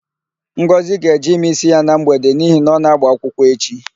Ngọzị ga-eje ime ísí ya na mgbede n'ihi na ọ ga-ágbà akwụkwọ echi.